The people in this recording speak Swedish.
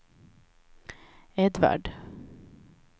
Edvard